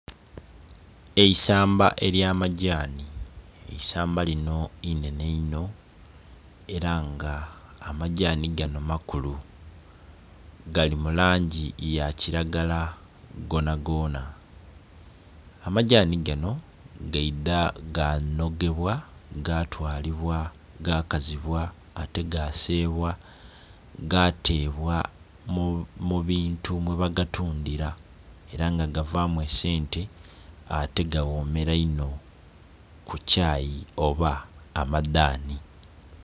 Eisamba ely'amagyani. Eisamba linho inhenhe inho ela nga amagyani ganho makulu gali mu langi ya kilagala ghonhaghonha. Amagyani ganho gaidha ghanhogebwa, gatwalibwa, gakazibwa ate gaseebwa, gateebwa mu bintu mwebagatundhira ela nga gavamu esente ate ganhomela inho ku kyayi oba amadhanhi.